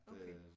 Okay